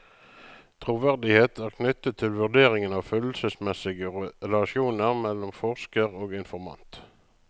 Troverdighet er knyttet til vurderingen av følelseesmessige relasjoner mellom forsker og informant.